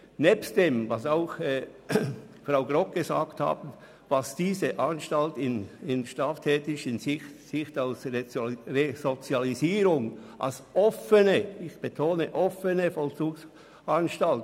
Hinzu kommt – wie Grossrätin Grogg vorhin erwähnt hat –, was diese Anstalt aus strafrechtlicher Sicht als offene Vollzugsanstalt in Sachen Resozialisierung leistet.